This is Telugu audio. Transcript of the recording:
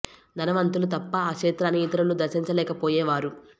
ధనవంతులు తప్ప ఆ క్షేత్రాన్ని ఇతరులు దర్శించ లేక పోయే వారు